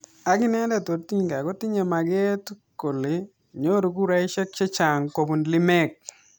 Akinendet Odinga kotinye mageet kole nyoru kuraishek chechang kopun lemek.